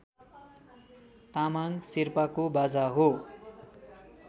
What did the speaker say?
तामाङ शेर्पाको बाजा हो